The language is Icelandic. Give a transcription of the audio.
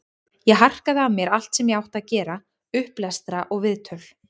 Ég harkaði af mér allt sem ég átti að gera, upplestra, viðtöl.